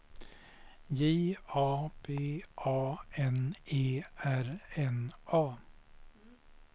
J A P A N E R N A